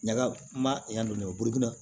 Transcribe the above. Ɲaga m'a dɔn ne burun na